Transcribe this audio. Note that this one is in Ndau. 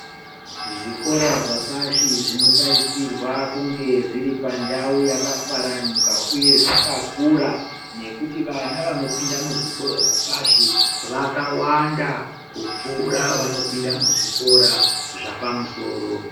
Zvikora zvepashi zvinotarisirwa kunge zviri pandau yakafaranuka uyezvakakura nekuti vana vanopinda muzvikora zvepashi vakawanda kupfura vanopinda muzvikora zvepamusoro.